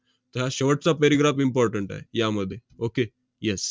त~ हा शेवटचा paragraph important आहे यामध्ये. okay yes